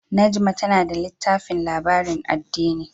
Najma tana da littafin labarin addini.